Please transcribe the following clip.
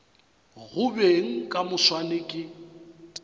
go beng ka moswane ke